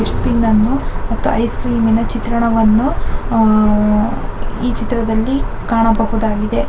Dustbin ಅನ್ನು ಮತ್ತು ice ಕ್ರೀಮಿನ ಚಿತ್ರಣವನ್ನು ಅಹ್ ಈ ಚಿತ್ರದಲ್ಲಿ ಕಾಣಬಹುದಾಗಿದೆ.